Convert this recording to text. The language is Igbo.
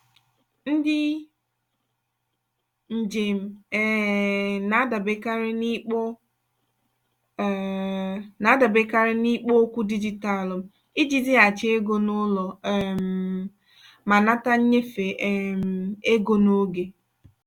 ndị njem um na-adaberekarị n'ikpo um na-adaberekarị n'ikpo okwu dijitalụ iji zighachi ego n'ụlọ um ma nata nnyefe um ego n'oge.